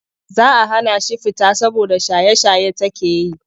Za a hana shi fita saboda shaye-shaye take yi.